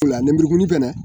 Fila lenburukumuni fɛnɛ